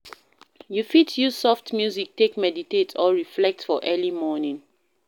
You fit use soft music take meditate or reflect for early morning